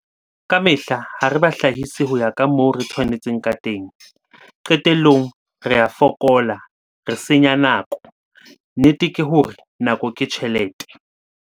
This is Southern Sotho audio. Ka mehla ha re bahlahisi ho ya ka moo re tshwanetseng ka teng. Qetellong, re a fokola, re senya nako, nnete ke hore 'nako ke tjhelete'.